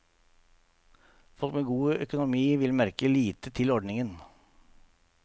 Folk med god økonomi vil merke lite til ordningen.